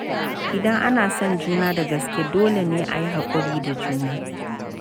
Idan ana son juna da gaske, dole ne a yi hakuri da juna.